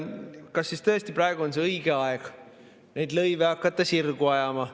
Kas siis tõesti praegu on õige aeg hakata neid lõive nii-öelda sirgu ajama?